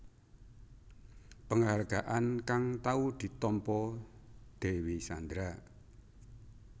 Penghargaan kang tau ditampa Dewi Sandra